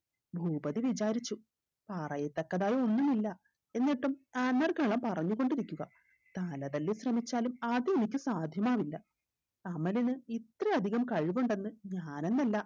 ഭൂപതി വിചാരിച്ചു പറയത്തക്കതായ ഒന്നുമില്ല എന്നിട്ടും പറഞ്ഞുകൊണ്ടിരിക്കുക തല തല്ലി ശ്രമിച്ചാലും അത് എനിക്ക് സാധ്യമാവില്ല അമലിന് ഇത്രയധികം കഴിവുണ്ടെന്ന് ഞാനെന്നല്ല